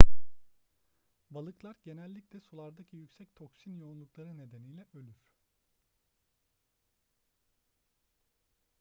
balıklar genellikle sulardaki yüksek toksin yoğunlukları nedeniyle ölür